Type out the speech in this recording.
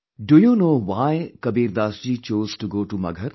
Do you know why Kabir Das ji chose to go to Maghar